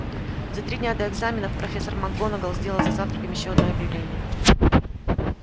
за три дня до экзаменов профессор макгонагалл сделала за завтраком ещё одно объявление